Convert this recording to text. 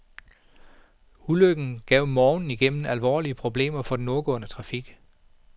Ulykken gav morgenen igennem alvorlige problemer for den nordgående trafik.